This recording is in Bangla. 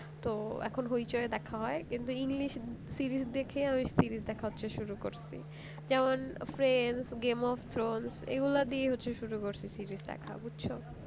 তো এখন হইচই এ দেখা হয় কিন্তু english series দেখে হচ্ছে series দেখা শুরু করেছি যেমন friends game of throne এগুলা দিয়ে হচ্ছে শুরু করেছি series দেখা